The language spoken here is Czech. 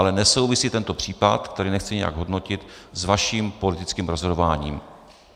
Ale nesouvisí tento případ, který nechci nějak hodnotit, s vaším politickým rozhodováním.